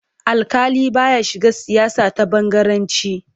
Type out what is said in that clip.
Alƙali ba ya shiga siyasa ta bangaranci.